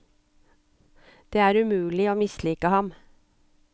Det er umulig å mislike ham.